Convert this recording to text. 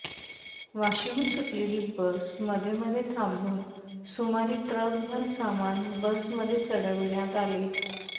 वाशीहून सुटलेली बस मध्येमध्ये थांबून सुमारे ट्रकभर सामान बसमध्ये चढविण्यात आले